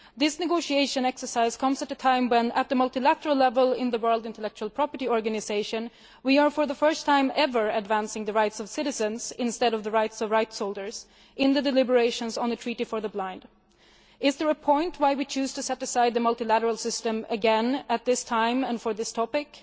This negotiation exercise comes at a time when, at multilateral level in the World Intellectual Property Organisation, we are for the first time ever advancing the rights of citizens instead of the rights of rights holders in the deliberations on the treaty for the blind. Is there a reason why we are choosing to set aside the multilateral system again at this time and for this topic?